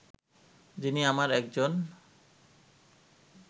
যিনি আমার একজন